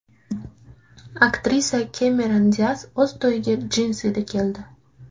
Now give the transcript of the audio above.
Aktrisa Kemeron Dias o‘z to‘yiga jinsida keldi.